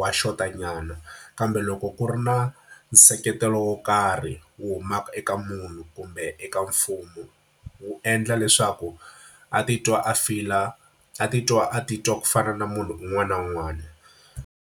wa xotanyana. Kambe loko ku ri na nseketelo wo karhi wu humaka eka munhu kumbe eka mfumo, wu endla leswaku a titwa a feel-a, a titwa a titwa ku fana na munhu un'wana na un'wana.